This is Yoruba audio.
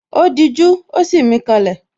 Ó dijú, ó sì mí ká lẹ̀